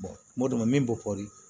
modɛma min bɛ kɔri